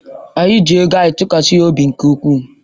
Anyị ji ego anyị tụkwasị ya obi nke ukwuu.